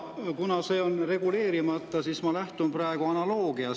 Kuna see on reguleerimata, siis ma lähtun praegu analoogiast.